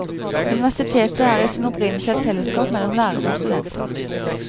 Universitetet er i sin opprinnelse et fellesskap mellom lærere og studenter.